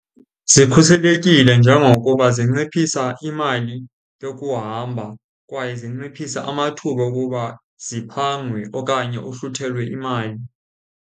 Zikhuselekile njengokuba zinciphisa imali yokuhamba kwaye zinciphisa amathuba okuba siphangwe okanye uhluthelwe imali.